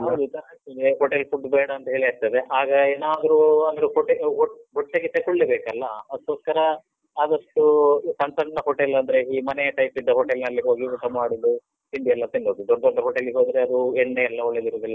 ಹೌದು ಸಾಕಾಗ್ತದೆ, hotel food ಬೇಡ ಅಂತ್ ಹೇಳಿ ಆಗ್ತದೆ. ಆಗ ಏನಾದ್ರೂ ಅಂದ್ರೆ ಹೊಟ್ಟೆಗ್ ಹೊಟ್~ ಹೊಟ್ಟೆಗೆ ತೆಕೊಳ್ಳೇಬೇಕಲ್ಲ? ಅದ್ಕೋಸ್ಕರ ಆದಷ್ಟು ಸಣ್ ಸಣ್ಣ hotel , ಅಂದ್ರೆ ಈ ಮನೆಯ type ಇದ್ದ hotel ನಲ್ಲಿ ಹೋಗಿ ಊಟ ಮಾಡುದು, ತಿಂಡಿಯೆಲ್ಲ ತಿನ್ನುದು. ದೊಡ್ ದೊಡ್ಡ hotel ಗೆ ಹೋದ್ರೆ ಅದು ಎಣ್ಣೆಯೆಲ್ಲ ಒಳ್ಳೆದಿರುದಿಲ್ಲ.